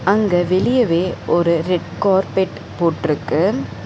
அங்க வெளியவே ஒரு ரெட் கார்ப்பெட் போட்ருக்கு.